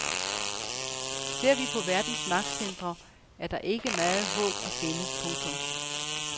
Ser vi på verdens magtcentre er der ikke meget håb at finde. punktum